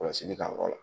Kɔlɔsili ka yɔrɔ la